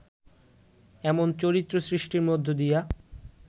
এমন চরিত্র সৃষ্টির মধ্য দিয়া